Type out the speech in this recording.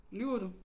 Lyver du